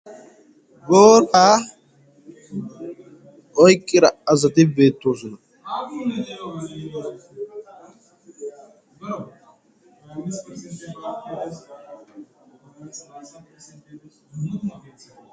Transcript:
Booraa oyqqida asati beettoosona.